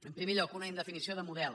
en primer lloc una indefinició de model